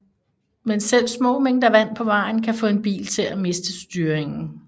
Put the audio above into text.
Men selv små mængder vand på vejen kan få en bil til at miste styringen